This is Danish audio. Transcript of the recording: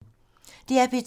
DR P2